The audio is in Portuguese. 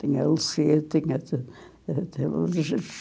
Tinha, tinha ti...